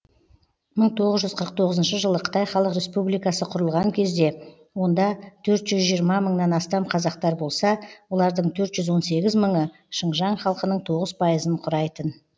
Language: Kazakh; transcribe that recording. мың тоғыз жүз қырық тоғызыншы жылы қытай халық республикасы құрылған кезде онда төрт жүз жиырма мыңнан астам қазақтар болса олардың төрт жүз он сегіз мыңы шыңжаң халқының тоғыз пайын құрайтын